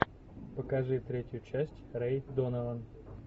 покажи третью часть рэй донован